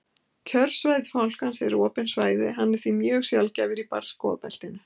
kjörsvæði fálkans eru opin svæði og hann er því mjög sjaldgæfur í barrskógabeltinu